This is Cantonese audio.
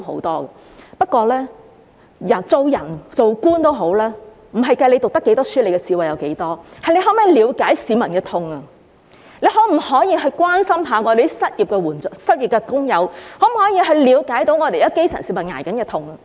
但是，做人或做官不在於讀過多少書或智慧有多高，而是在於能否了解市民的痛，關心失業的工友，了解基層市民正承受的痛。